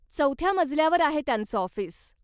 चौथ्या मजल्यावर आहे त्यांचं ऑफिस.